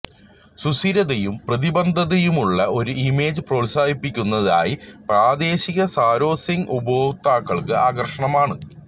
സുസ്ഥിരതയും പ്രതിബദ്ധതയുമുള്ള ഒരു ഇമേജ് പ്രോത്സാഹിപ്പിക്കുന്നതിനായി പ്രാദേശിക സാരോസിംഗ് ഉപഭോക്താക്കൾക്ക് ആകർഷകമാണ്